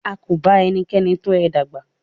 A kò ba ẹnikẹ́ni tọ ẹ dàgbà.